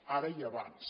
ara i abans